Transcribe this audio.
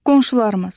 Qonşularımız.